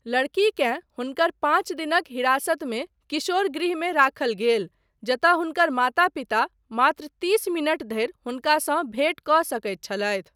लड़कीकेँ हुनकर पाँच दिनक हिरासतमे किशोर गृहमे राखल गेल जतय हुनकर माता पिता मात्र तीस मिनट धरि हुनकासँ भेंट कऽ सकैत छलथि।